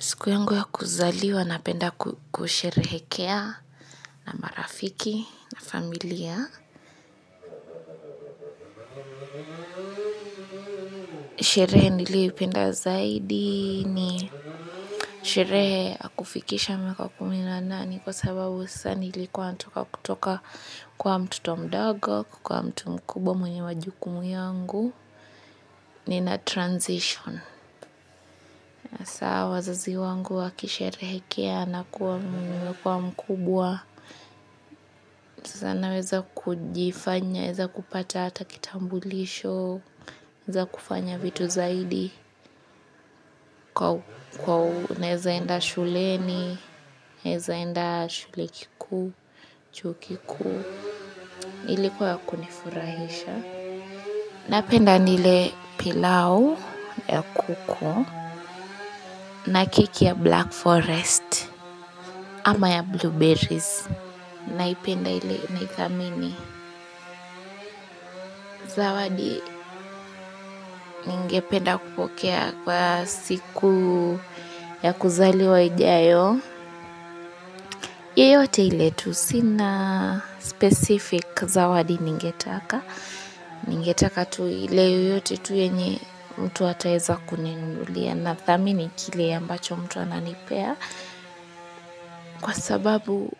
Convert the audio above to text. Siku yangu ya kuzaliwa napenda kusherehekea na marafiki na familia. Sherehe niliyoipenda zaidi ni sherehe ya kufikisha miaka kumi na nane kwa sababu sasa nilikuwa natoka kutoka kuwa mtoto mdogo, kukuwa mtu mkubwa mwenye majukumu yangu. Nina transition. Hasa wazazi wangu wakisherehekea na kuwa mimi nimekuwa mkubwa, sasa naweza kujifanya, naweza kupata hata kitambulisho, naweza kufanya vitu zaidi, kwa naeza enda shuleni, naeza enda shule kikuu, chuo kikuu. Ilikuwa ya kunifurahisha. Napenda nile pilau ya kuku. Na keki ya black forest. Ama ya blueberries. Naipenda ile naithamini zawadi. Ningependa kupokea kwa siku ya kuzaliwa ijayo. Yeyote ile tu sina specific zawadi ningetaka. Ningetaka tu ile yoyote tu yenye mtu ataeza kuninunulia nathamini kile ambacho mtu ananipea kwa sababu,